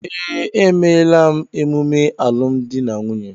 Ee, emela m emume alụmdi na nwunye